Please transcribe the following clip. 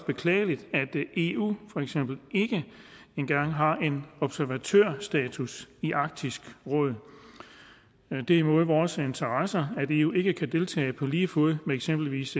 beklageligt at eu for eksempel ikke engang har observatørstatus i arktisk råd det er imod vores interesser at eu ikke kan deltage på lige fod med eksempelvis